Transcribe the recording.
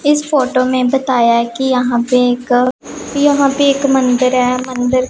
इस फोटो में बताया है कि यहां पे एक यहां पे एक मंदिर है मंदिर--